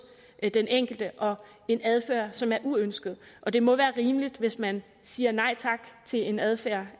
den enkelte og en adfærd som er uønsket og det må være rimeligt hvis man siger nej tak til en adfærd